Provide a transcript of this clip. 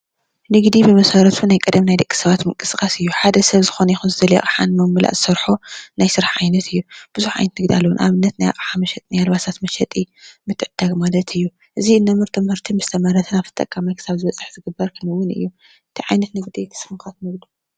ንግዲ ብመሰረቱ ናይ ቀደም ናይ ደቂ ሰባት ምንቅስቃስ እዩ። ሓደ ሰብ ዝኮነይኩን አቅሓ ንምምላእ ዝሰርሓ ናይ ስራሕ ዓይነት እዩ ። ብዙሓት ዓይነት ንግዲ ኣሎ። ንአብነት ናይ ኣቅሓ መሸጢ ናይ ኣልባሳት መሸጢ ምትግድዳግ ማለት እዩ። እዚ ነምርቶ ምህርቲ ምስ ተመረተ ናብ ተጠቃማይ ክሳብ ዝበፅሕ ክንውን እዩ። እንታይ ዓይነት ንግዲ ንስኩም ከ ትነግዱ?